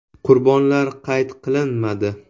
Qurbonlar qayd qilinmadi.